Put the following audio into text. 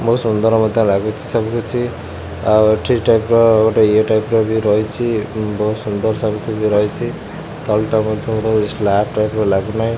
ବହୁତ ସୁନ୍ଦର ମଧ୍ୟ ଲାଗୁଛି ସବୁକିଛି ଆଉ ଠିକ୍ ଟାଇପ୍ ର ଇଏ ଟାଇପ୍ ର ବି ରହିଛି ବହୁତ୍ ସୁନ୍ଦର ସାରା ବି ରହିଛି ତଳଟା ମଧ୍ୟ ସ୍ଲାପ୍ ଟାଇପ୍ ର ଲାଗୁନାହିଁ।